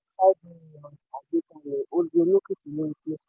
jumiapay ní 5 million agbàkalẹ̀ ó di olókìkí lórí play store.